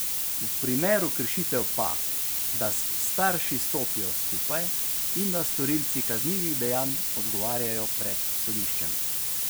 V primeru kršitev pa, da s starši stopijo skupaj in da storilci kaznivih dejanj odgovarjajo pred sodiščem.